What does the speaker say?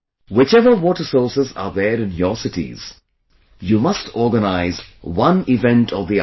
Whichever water sources are there in your cities, you must organize one event or the other